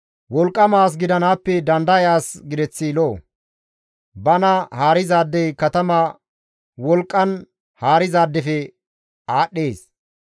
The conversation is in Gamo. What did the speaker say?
Wolqqama as gidanaappe dandaya as gideth lo7o; bana haarizaadey katama wolqqan haarizaadefe aadhdhees.